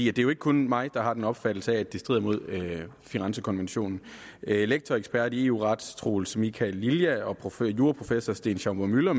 er jo ikke kun mig der har den opfattelse at det strider mod firenzekonventionen lektor og ekspert i eu ret troels michael lilja og juraprofessor sten schaumburg müller